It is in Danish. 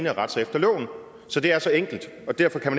at rette sig efter loven så det er så enkelt og derfor kan